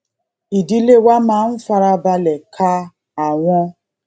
ìdílé wa máa ń fara balè ka àwọn